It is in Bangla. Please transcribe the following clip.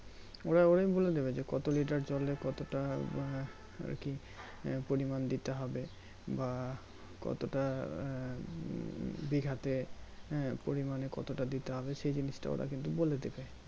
ওরাই বলে দিবে কত Litter জলে কতটা বা আরকি আহ পরিমান দিতে হবে বা কতটা আহ বিঘাতে হ্যাঁ পরিমানে কতটা দিতে হবে সেই জিনিসটা ওরা কিন্তু বলে দিবে